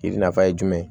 Yiri nafa ye jumɛn ye